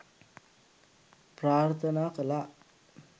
ප්‍රාර්ථනා කළා.